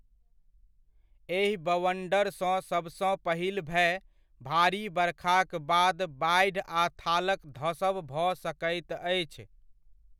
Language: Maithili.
एहि बवंडरसँ सबसँ पहिल भय, भारी बरखाक बाद बाढि आ थालक धसब भऽ सकैत अछि।